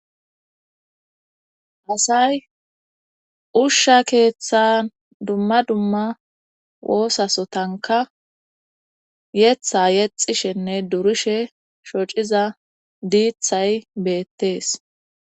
asay ushsha keeththan dumma dumma woosasotanka yetha yexishenne durishe shociza diithay beettees